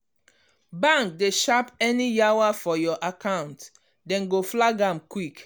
bank dey sharp any yawa for your account dem go flag am quick.